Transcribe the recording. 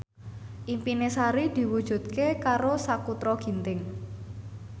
impine Sari diwujudke karo Sakutra Ginting